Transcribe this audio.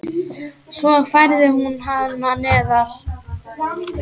Svo færði hún hana neðar.